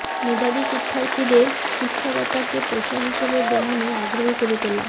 মেধাবী শিক্ষার্থীদের শিক্ষকতাকে পেশা হিসেবে গ্রহণে আগ্রহী করে তোলা